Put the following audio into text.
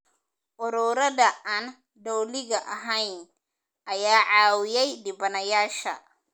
Ururada aan dowliga ahayn ayaa caawiyay dhibanayaasha.